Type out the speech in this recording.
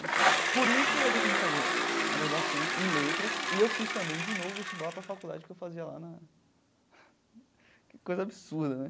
Por isso eu decidi fazer a graduação em letras e eu fiz também, de novo, vestibular para a faculdade que eu fazia lá na... Que coisa absurda, né?